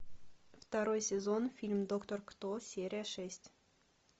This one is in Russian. второй сезон фильм доктор кто серия шесть